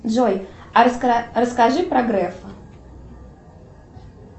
джой а расскажи про грефа